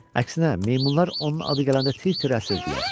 Əksinə meymunlar onun adı gələndə tir-tir əsirdilər.